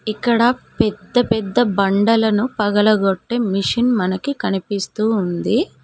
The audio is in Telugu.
ఇక్కడ పెద్ద పెద్ద బండలను పగలగొట్టే మిషన్ మనకి కనిపిస్తుంది.